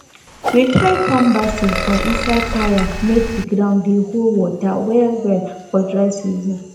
we try farm basil for inside tyre make the ground dey hold water well well for dry season